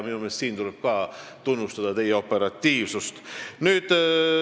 Minu meelest tuleb ka siin tunnustada teie operatiivsust.